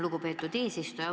Lugupeetud eesistuja!